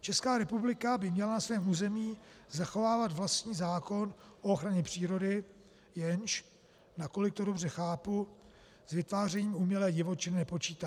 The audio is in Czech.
Česká republika by měla na svém území zachovávat vlastní zákon o ochraně přírody, jenž, nakolik to dobře chápu, s vytvářením umělé divočiny nepočítá.